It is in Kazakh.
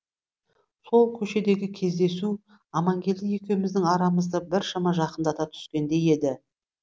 сол көшедегі кездесу амангелді екеуміздің арамызды біршама жақындата түскендей еді